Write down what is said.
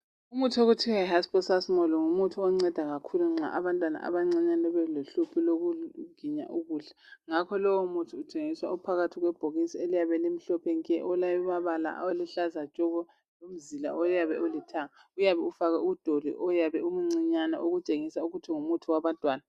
Umuthi okuthiwa yiHayiposasimoli ngumuthi onceda kakhulu abantwana abancinyane belohlupho lokuginya ukudla. Ngakho lowomuthi uthengiswa uphakathi kwebhokisi eliyabe limhlophe nke, olamabala aluhlaza tshoko lomzila oyabe ulithanga. Uyabe kufakwe udoli omncinyane okutshengisa ukuthi ngumuntu wabantwana.